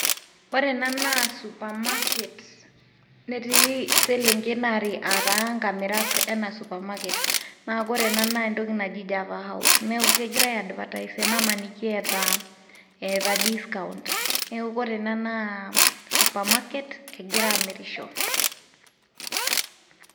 Ore ena naa supermarket, netii selenken are aata nkamirak ena supermarker naa kore ena naa entoki naji java house. Neeku kegira ai advertise enamaniki eeta discount. Neeku kore ena naa cs] supermarket egira aamirisho.